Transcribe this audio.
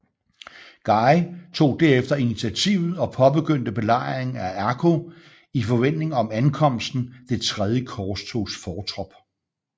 Guy tog derefter initiativet og påbegyndte belejringen af Akko i forventning om ankomsten Det tredje korstogs fortrop